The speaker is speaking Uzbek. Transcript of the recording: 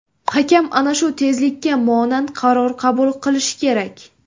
Hakam ana shu tezlikka monand qaror qabul qilishi kerak.